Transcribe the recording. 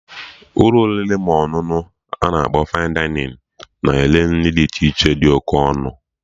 Ụlọ oriri ma ọṅụṅụ ana akpọ 'Fine Dining' na-ere nri dị iche iche dị oké ọnụ